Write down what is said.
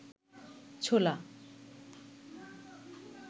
ছোলা